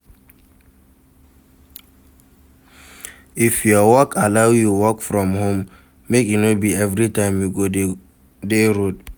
If your work allow you work from home make e no be everytime you go de dey road